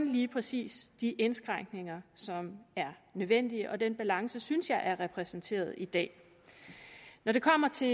lige præcis de indskrænkninger som er nødvendige og den balance synes jeg er repræsenteret i dag når det kommer til